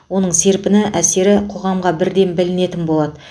оның серпіні әсері қоғамға бірден білінетін болады